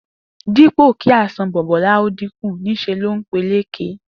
Dípò kí àìsàn Bò̩bó̩lá ó dínkù, nís̩e ló ń peléke